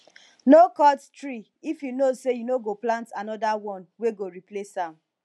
no cut tree if you know say you no go plant another one wey go replace am